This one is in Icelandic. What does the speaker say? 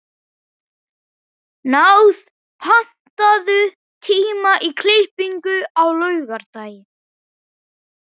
Náð, pantaðu tíma í klippingu á laugardaginn.